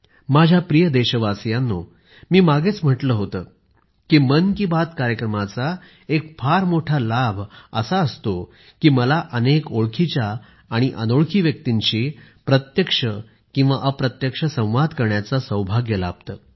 माझ्या प्रिय देशवासीयांनो मी मागेच म्हटले होते की मन की बातकार्यक्रमाचा एक फार मोठा लाभ असा असतो की मला अनेक ओळखीच्या आणि अनोळखी व्यक्तींशी प्रत्यक्ष किंवा अप्रत्यक्ष संवाद करण्याचे सौभाग्य लाभते